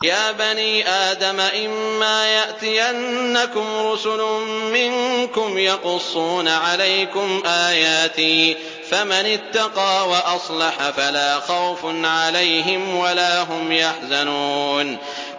يَا بَنِي آدَمَ إِمَّا يَأْتِيَنَّكُمْ رُسُلٌ مِّنكُمْ يَقُصُّونَ عَلَيْكُمْ آيَاتِي ۙ فَمَنِ اتَّقَىٰ وَأَصْلَحَ فَلَا خَوْفٌ عَلَيْهِمْ وَلَا هُمْ يَحْزَنُونَ